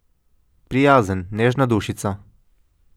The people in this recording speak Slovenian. Prijazen, nežna dušica.